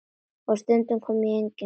Og stundum kom enginn grátur.